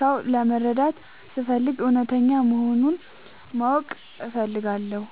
ሰው ለመረዳት ስፈልግ እውነተኛ መሆኑን ማወቅ እፈልጋለው።